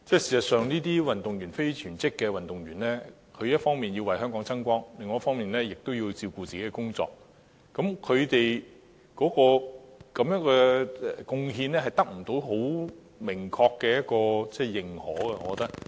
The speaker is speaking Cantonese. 事實上，這些非全職運動員一方面要為香港爭光，另一方面也要顧及個人的工作，而我認為他們的貢獻未能得到很明確的認同。